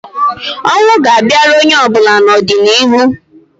Ọnwụ ga-abịara onye ọbụla n'ọdịniihu